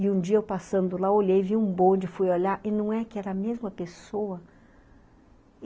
E um dia eu passando lá, olhei, vi um bonde, fui olhar e não é que era a mesma pessoa?